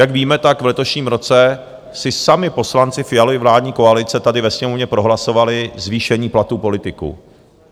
Jak víme, tak v letošním roce si sami poslanci Fialovy vládní koalice tady ve Sněmovně prohlasovali zvýšení platů politiků.